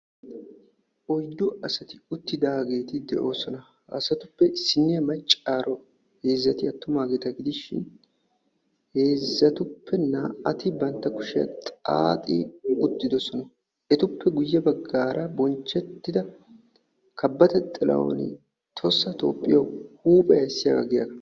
Oyddu asati uttidaageeti de'oosona. Asatuppe issinniya maccaaro heezzati attumaageeta gidishin heezzatuppe naa''ati bantta kushiya xaaxi uttidosona. Etuppe guyye baggaara bonchchettida kabbada xilahuni tohossa toophphiyawu huuphe ayssiyagaa giyaagaa.